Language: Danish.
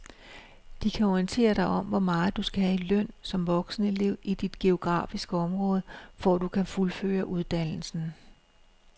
De kan orientere dig om hvor meget du skal have i løn som voksenelev i dit geografiske område, for at du kan fuldføre uddannelsen.